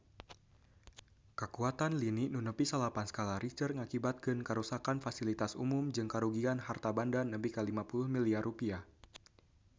Kakuatan lini nu nepi salapan skala Richter ngakibatkeun karuksakan pasilitas umum jeung karugian harta banda nepi ka 50 miliar rupiah